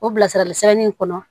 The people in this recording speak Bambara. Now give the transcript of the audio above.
O bilasirali sɛbɛnni in kɔnɔ